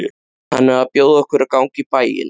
Hann er að bjóða okkur að ganga í bæinn.